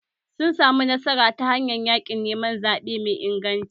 Sun samu nasara ta hanyar yaƙin neman zaɓe mai inganci